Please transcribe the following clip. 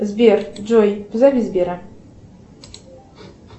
сбер джой позови сбера